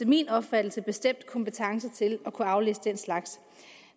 min opfattelse bestemt er kompetencer til at kunne aflæse den slags